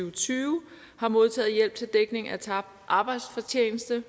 og tyve har modtaget hjælp til dækning af tabt arbejdsfortjeneste